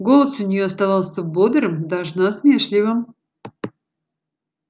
голос у нее оставался бодрым даже насмешливым